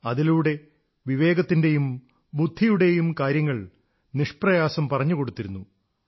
അതിലൂടെ വിവേകത്തിന്റെയും ബുദ്ധിയുടെയും കാര്യങ്ങൾ നിഷ്പ്രയാസം പറഞ്ഞുകൊടുത്തിരുന്നു